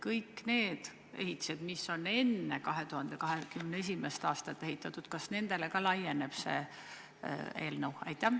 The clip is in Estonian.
Kõik need ehitised, mis on enne 2021. aastat ehitatud, kas nendele ka laieneb see eelnõu?